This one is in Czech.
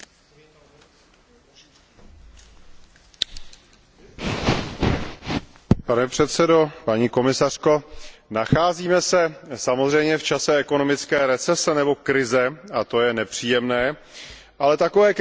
Pane předsedo, paní komisařko, nacházíme se samozřejmě v čase ekonomické recese nebo krize, a to je nepříjemné, ale takové krize přicházejí a odcházejí, jsou cyklickou součástí tržního hospodářství